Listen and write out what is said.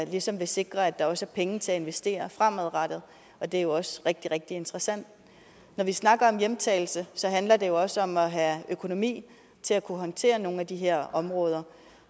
ligesom vil sikre at der også er penge til at investere fremadrettet og det er jo også rigtig rigtig interessant når vi snakker om hjemtagelse handler det jo også om at have økonomi til at kunne håndtere nogle af de her områder